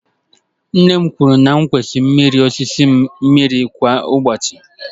Nne m kwuru na m kwesịrị mmiri osisi m mmiri kwa ụbọchị.